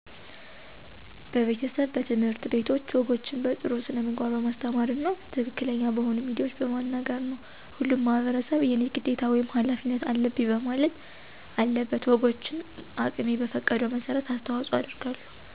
በቤተሰብ፣ በትምህርት ቤቶች ወጎችን በጥሩ ስነምግባር በማስተማር እና ትክክለኛ በሆኑ ሚዲያዎች በመናገር ነው። ሁሉም ማህበረሰብ የኔ ግዴታ ወይም ሀላፊነት አለብኝ ማለት አለበት። ወጎችን አቅሜ በፈቀደው መሠረት አስተዋጽኦ አደርጋለሁ።